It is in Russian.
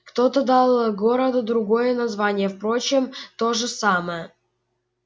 кто-то дал городу другое название впрочем то же самое